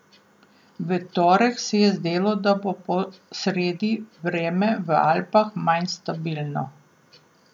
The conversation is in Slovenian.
V torek se je zdelo, da bo po sredi vreme v Alpah manj stabilno.